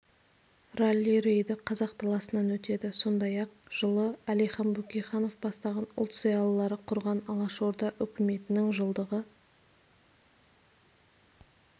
ралли-рейді қазақ даласынан өтеді сондай-ақ жылы әлихан бөкейханов бастаған ұлт зиялылары құрған алашорда үкіметінің жылдығы